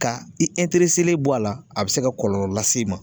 Ka i bɔ a la, a bɛ se ka kɔlɔlɔ las'i ma.